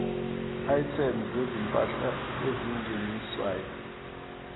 items zezimpahla ezingeniswayo